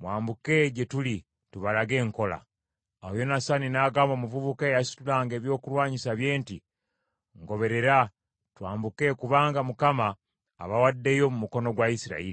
“Mwambuke gye tuli, tubalage enkola.” Awo Yonasaani n’agamba omuvubuka eyasitulanga ebyokulwanyisa bye nti, “Ngoberera twambuke kubanga Mukama abawaddeyo mu mukono gwa Isirayiri.”